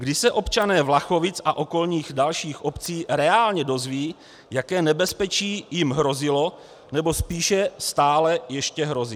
Kdy se občané Vlachovic a okolních dalších obcí reálně dozvědí, jaké nebezpečí jim hrozilo, nebo spíše stále ještě hrozí?